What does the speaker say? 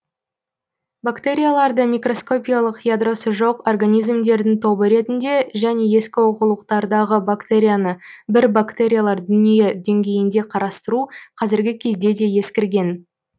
бактерияларды микроскопиялық ядросы жоқ организмдердің тобы ретінде және ескі оқулықтардағы бактерияны бір бактериялар дүние деңгейінде қарастыру қазіргі кезде де ескірген